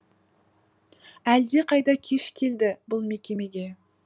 әлдеқайда кеш келді бұл мекемеге